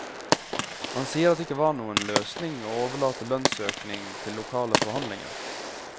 Han sier at det ikke var noen løsning å overlate lønnsøkning til lokale forhandlinger.